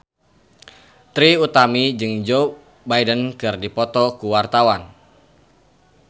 Trie Utami jeung Joe Biden keur dipoto ku wartawan